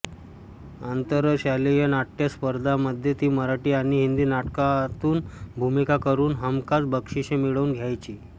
आंतरशालेय नाट्य स्पर्धामध्ये ती मराठी आणि हिंदी नाटकांतून भूमिका करून हमखास बक्षिसे मिळवून द्यायची